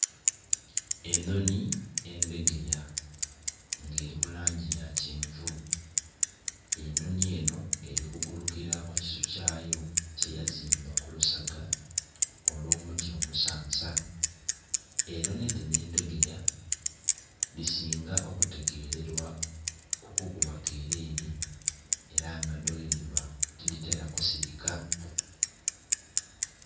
enhonhi, endhegeya nga eri mu langi yakyenvu, enhonhi enho eri kugulukira ku kisu kyaayo kye yazimba ku lusaga olw'omuti omusansa enhonhi dhino endhegeya dhisinga okutegererwa okukuba kereere era nga dho ghedhiba tiditera kusirika.